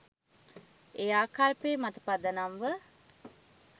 ඒ ආකල්පය මත පදනම්ව